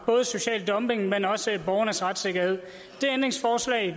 mod social dumping men også borgernes retssikkerhed